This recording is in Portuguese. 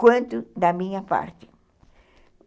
quanto da minha parte.